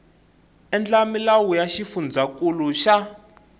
endla milawu ya xifundzankulu xa